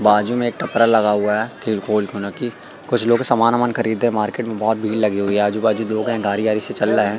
बाजु में एक टोकरा लगा हुआ है कुछ लोग सामान वमान खरीद रहे है मार्किट में बहुत भीड़ लगी हुई है आजुबाजू लोग है गाड़ी आगे से चल लहे हैं।